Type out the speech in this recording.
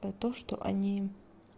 про то что они